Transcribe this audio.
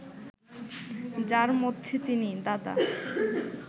যার মধ্যে তিনি, দাদা